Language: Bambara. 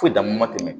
Foyi dama ma tɛmɛ